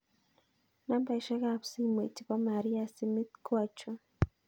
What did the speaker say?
Nambaisyek ab simoit chebo Maria Simit ko achon